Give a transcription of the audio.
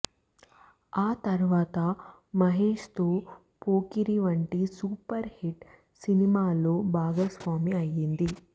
ఆ తర్వాత మహేష్ తో పోకిరి వంటి సూపర్ హిట్ సినిమాలో భాగస్వామి అయ్యింది